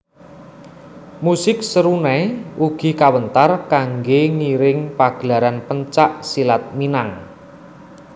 Musik serunai ugi kawéntar kanggé ngiring pagelaran pencak silat Minang